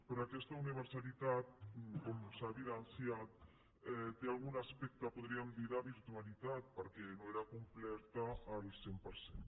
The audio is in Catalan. però aquesta universalitat com s’ha evidenciat té algun aspecte podríem dir ne de virtualitat perquè no era completa al cent per cent